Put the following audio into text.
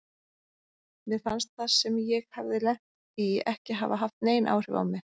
Mér fannst það sem ég hafði lent í ekki hafa haft nein áhrif á mig.